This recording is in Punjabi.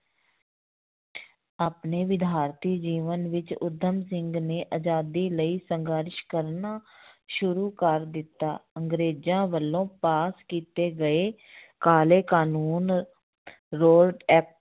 ਆਪਣੇ ਵਿਦਿਆਰਥੀ ਜੀਵਨ ਵਿੱਚ ਊਧਮ ਸਿੰਘ ਨੇ ਆਜ਼ਾਦੀ ਲਈ ਸੰਘਰਸ਼ ਕਰਨਾ ਸ਼ੁਰੂ ਕਰ ਦਿੱਤਾ, ਅੰਗਰੇਜ਼ਾਂ ਵੱਲੋਂ ਪਾਸ ਕੀਤੇ ਗਏ ਕਾਲੇ ਕਾਨੂੰਨ